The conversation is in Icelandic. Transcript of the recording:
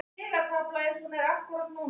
Það er líka bert að óreiðusamir